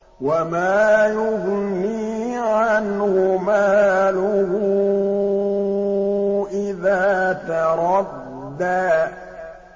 وَمَا يُغْنِي عَنْهُ مَالُهُ إِذَا تَرَدَّىٰ